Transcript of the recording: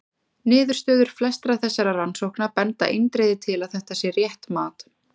Niðurstöður flestra þessara rannsókna benda eindregið til að þetta sé rétt mat.